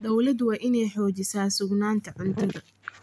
Dawladdu waa inay xoojisaa sugnaanta cuntada.